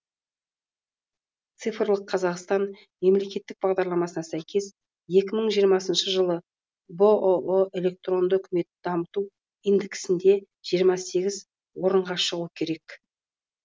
цифрлық қазақстан мемлекеттік бағдарламасына сәйкес екі мың жиырмасыншы жылы бұұ электронды үкіметті дамыту индексінде жиырма сегіз орынға шығу керек